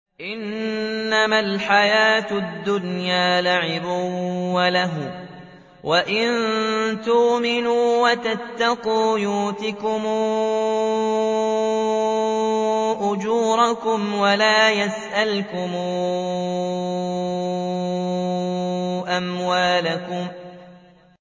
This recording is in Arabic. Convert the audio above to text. إِنَّمَا الْحَيَاةُ الدُّنْيَا لَعِبٌ وَلَهْوٌ ۚ وَإِن تُؤْمِنُوا وَتَتَّقُوا يُؤْتِكُمْ أُجُورَكُمْ وَلَا يَسْأَلْكُمْ أَمْوَالَكُمْ